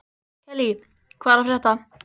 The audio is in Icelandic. Kellý, hvað er að frétta?